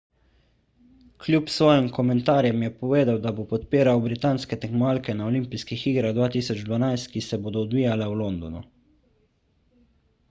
kljub svojim komentarjem je povedal da bo podpiral britanske tekmovalke na olimpijskih igrah 2012 ki se bodo odvijale v londonu